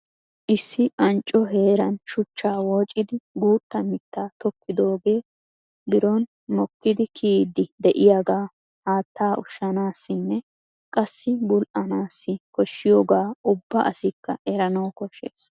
Issi ancco heeran shuchcha wooccidi guutta mittaa tokkidooge biro mokkidi kiyyidi de'iyaaga haattaa ushshanassinne qassi bul"anassi koshshiyooga ubba asikka eranaw koshshees.